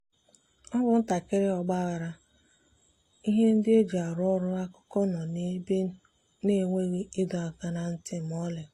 ọ bụ ntakịrị ọgba aghara—ihe ndị eji arụ ọrụ akụkụ nọ ebe niile na enweghị ịdọ aka ná ntị ma ọlị.